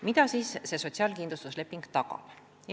Mida see sotsiaalkindlustusleping tagab?